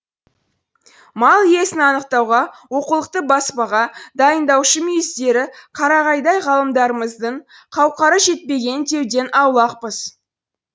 мал иесін анықтауға оқулықты баспаға дайындаушы мүйіздері қарағайдай ғалымдарымыздың қауқары жетпеген деуден аулақпыз